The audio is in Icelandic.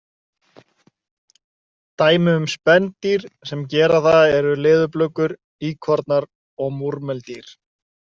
Dæmi um spendýr sem gera það eru leðurblökur, íkornar og múrmeldýr.